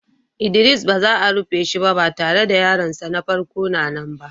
Idris ba za a rufe shiba, ba tare da yaron sa na farko na nan.